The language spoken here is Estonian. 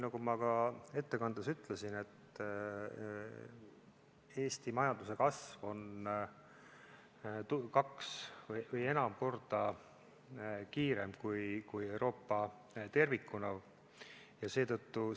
Nagu ma ka ettekandes ütlesin, Eesti majanduse kasv on kaks või enam korda kiirem kui Euroopa tervikuna.